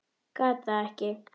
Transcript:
Gat það ekki.